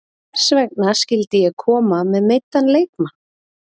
Hvers vegna skyldi ég koma með meiddan leikmann?